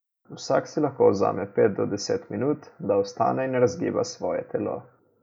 Vsak si lahko vzame pet do deset minut, da vstane in razgiba svoje telo.